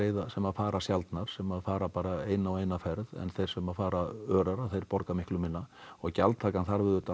sem fara sjaldnar sem fara bara eina og eina ferð en þeir sem fara örar þeir borga miklu minna og gjaldtakan þarf auðvitað